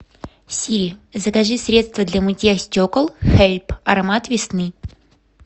сири закажи средство для мытья стекол хейп аромат весны